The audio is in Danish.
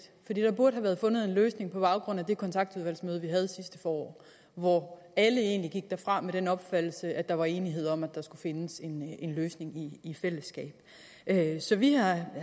der burde have været fundet en løsning på baggrund af det kontaktudvalgsmøde vi havde sidste forår hvor alle egentlig gik derfra med den opfattelse at der var enighed om at der skulle findes en løsning i fællesskab så vi